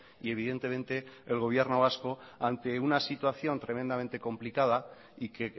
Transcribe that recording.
y evidentemente el gobierno vasco ante una situación tremendamente complicada y que